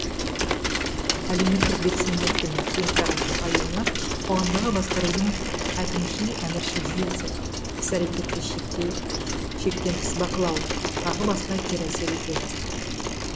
әлеуметтік белсенділіктің кең тарап нығаюына қоғамдағы басқарудың әкімшіл әміршіл жүйесі іс әрекетті шектен тыс бақылау тағы басқа кері әсер етеді